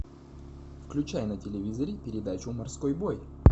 включай на телевизоре передачу морской бой